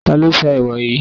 Ta ló sá ẹwà yìí?